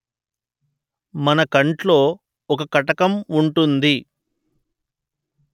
మన కంట్లో ఒక కటకం ఉంటుంది